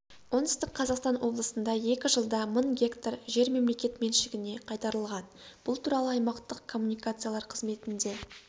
оңтүстік қазақстан облысында екі жылда мың гектар жер мемлекет меншігіне қайтарылған бұл туралы аймақтық коммуникациялар қызметінде